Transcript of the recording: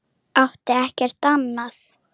Átti ekkert annað.